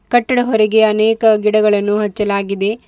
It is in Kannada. ಕಟ್ಟಡ ಹೊರಗೆ ಅನೇಕ ಗಿಡಗಳನ್ನು ಹಚ್ಚಲಾಗಿದೆ.